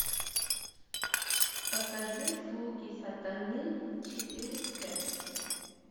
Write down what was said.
покажи слуги сатаны четыре к